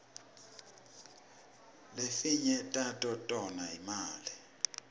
lefinye tato tonga imali